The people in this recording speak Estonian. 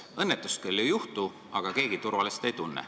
Õnnetust küll ei juhtu, aga keegi ennast turvaliselt ka ei tunne.